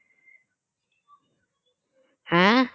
হ্যাঁ